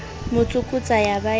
mo tsokotsa ya ba ya